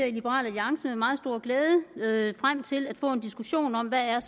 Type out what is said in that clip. i liberal alliance med meget stor glæde frem til at få en diskussion om hvad